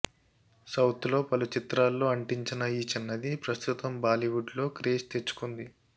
south లో పలు చిత్రాల్లో అంటించిన ఈ చిన్నది ప్రస్తుతం బాలీవుడ్ లో క్రేజ్ తెచ్చుకుంటుంది